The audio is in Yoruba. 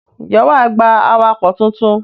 Ǹjẹ́ wà á gba awakọ̀ tuntun?